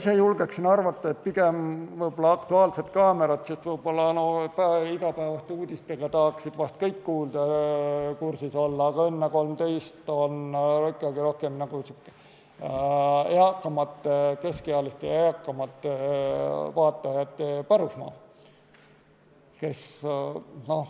Ma ise julgen arvata, et pigem võib-olla "Aktuaalne kaamera", sest igapäevaste uudistega tahaksid vist kõik kursis olla, aga "Õnne 13" on ikkagi rohkem keskealiste ja eakamate vaatajate pärusmaa.